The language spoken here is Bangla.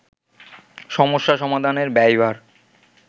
সমস্যা সমাধানের ব্যয়ভার